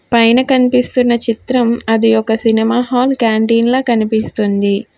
పైన కనిపిస్తున్న చిత్రం అది ఒక సినిమా హాల్ కాంటీన్ లా కనిపిస్తుంది.